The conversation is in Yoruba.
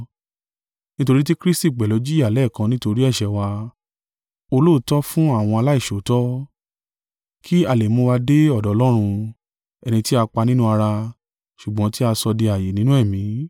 Nítorí tí Kristi pẹ̀lú jìyà lẹ́ẹ̀kan nítorí ẹ̀ṣẹ̀ wa, olóòótọ́ fún àwọn aláìṣòótọ́, kí a lè mú wa dé ọ̀dọ̀ Ọlọ́run, ẹni tí a pa nínú ara, ṣùgbọ́n tí a sọ di ààyè nínú ẹ̀mí.